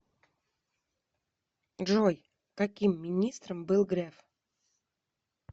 джой каким министром был греф